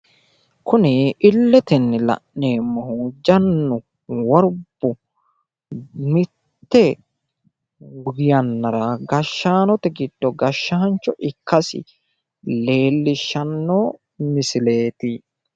Kuni illetenni la'neemmohu jannu worbu mitte yannara gashshaanote giddo gashshaancho ikkasi lellishshanno miisileeti.